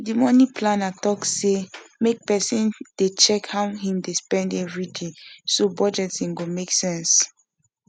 the money planner talk say make person dey check how him dey spend every day so budgeting go make sense